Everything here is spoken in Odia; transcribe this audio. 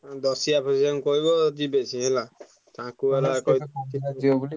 ଦଶିଆ ଫଶିଆଙ୍କୁ କହିବ ଯିବେ ସେ ହେଲା ତାଙ୍କୁ ହେଲା